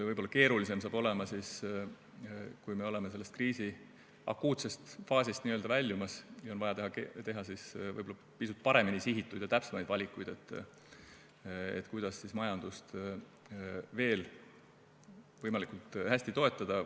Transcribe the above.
Võib-olla keerulisem saab olema siis, kui me oleme kriisi akuutsest faasist n-ö väljumas ja on vaja teha pisut paremini sihitud ja täpsemaid valikuid, kuidas majandust veel võimalikult hästi toetada.